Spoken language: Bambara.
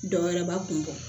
Dɔ wɛrɛba kun bɔ